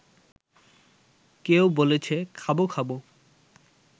কেউ বলেছে খাবো খাবো